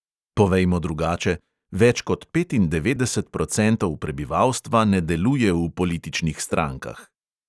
Povejmo drugače: več kot petindevetdeset procentov prebivalstva ne deluje v političnih strankah.